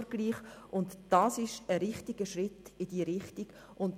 Dies ist ein Schritt in die richtige Richtung.